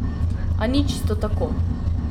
A ni čisto tako.